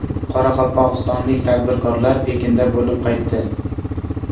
Qoraqalpog‘istonlik tadbirkorlar Pekinda bo‘lib qaytdi.